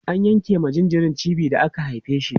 an yanke ma jinjiri cibi da aka haife shi